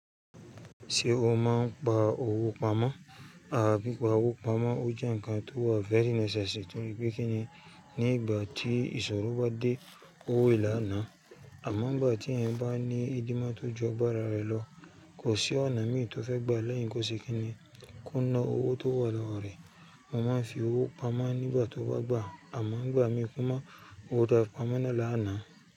Ṣé o máa ń pa owó pamọ́? Oro pipa owó pamọ́, ó jẹ́ ǹkan tó wà very necessary tori pe kíni. Ní ìgbà tí ìṣòro bá dé, owo là na. Àmọ́ ìgbà tí ẹ̀yin bá ní ìdìmá tó ju ọgbàrá rẹ lọ, kò sí ọ̀nà mí tó fẹ́ gbà lẹ́yìn kó ṣe kíni kó ná owó tó wà lọ́wọ́ rẹ. Mo máa ń fi owó pamọ́ nígbà tó bá gbà, àmọ́ ìgbà mí kò mọ owó ta dá pamọ́ ná là ná.